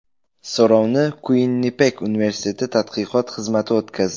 So‘rovni Kuinnipek universiteti tadqiqot xizmati o‘tkazdi.